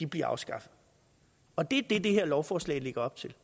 bliver afskaffet og det er det det her lovforslag lægger op til